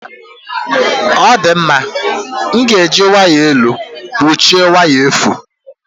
Ọ dị mma, m ga-eji waya elu kpuchie waya efu